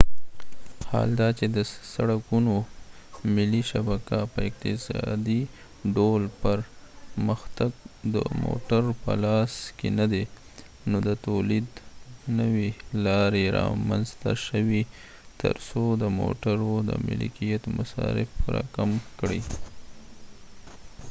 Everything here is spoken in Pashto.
حال دا چې د سړکونو ملي شبکه په اقتصادي ډول پرمختګ د موټرو په لاس کې نه دی نو د تولید نوي لارې رامنځته شوې تر څو د موټرو د ملکیت مصارف راکم کړي